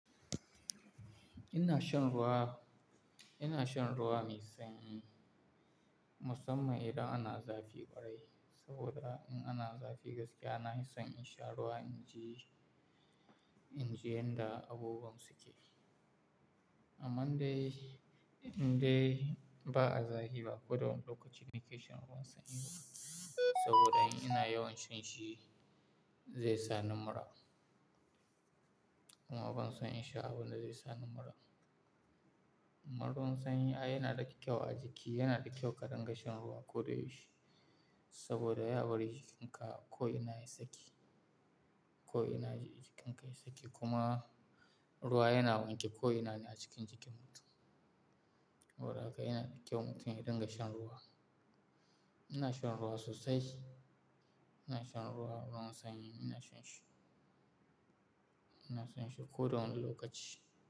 Ina shan ruwa, ina shan ruwa mai sanyii musamman idan ana zafi ƙwarai. Saboda in ana zafi gaskiya, na fissan in sha ruwa inji, inji yanda abubuwan suke. Amman dai, indai ba a zafi ba ko da wani lokaci ni kai shan ruwan sanyi ba. Saboda in ina yawan shan shi zai sa ni mura. Kuma ban son in sha abunda zai sa ni mura. Amma ruwan sanyi yana da kyau a jiki, yana da kyau ka rinƙa shan ruwa ko da yaushe. Saboda ya bari jikinka ko ina ya yi tsaki, ko ina jikinka ya yi tsaki. Kuma ruwa yana wanke ko ina ne a cikin jikin mutum. Saboda haka yana da kyau mutum ya rinƙa shan ruwa. Ina shan ruwa sosai, ina shan ruwa sanyi, ina shan shi. Ina son shi ko da wani lokaci.